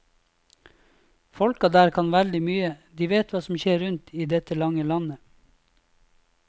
Folka der kan veldig mye, de vet hva som skjer rundt i dette lange landet.